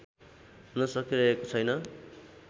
हुन सकिरहेको छैन